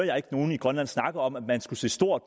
jeg ikke nogen i grønland snakke om at man skulle se stort